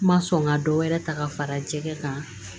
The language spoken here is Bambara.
Ma sɔn ka dɔ wɛrɛ ta ka fara jɛgɛ kan